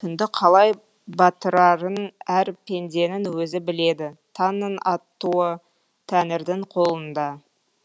күнді қалай батырарын әр пенденің өзі біледі таңның атуы тәңірдің қолында